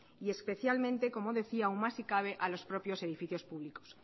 y especialmente como decía aún más si cabe a los propios edificios públicos